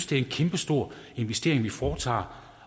det er en kæmpestor investering vi foretager